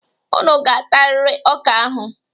Unu ga-atarịrị ọka ahụ.